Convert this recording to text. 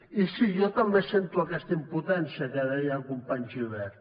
i sí jo també sento aquesta impotència que deia el company gibert